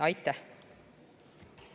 Aitäh!